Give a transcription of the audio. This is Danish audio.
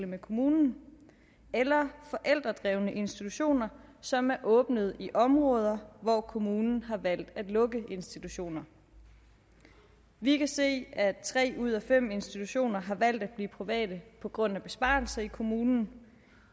med kommunen eller forældredrevne institutioner som er åbnet i områder hvor kommunen har valgt at lukke institutioner vi kan se at tre ud af fem institutioner har valgt at blive private på grund af besparelser i kommunen